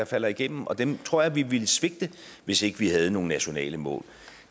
falder igennem og dem tror jeg vi ville svigte hvis ikke vi havde nogen nationale mål